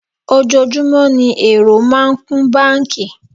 Ojoojúmọ́ ní èrò máa ń kún báńkì.